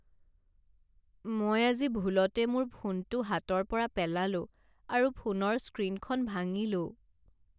মই আজি ভুলতে মোৰ ফোনটো হাতৰ পৰা পেলালোঁ আৰু ফোনৰ স্ক্ৰীনখন ভাঙিলোঁ।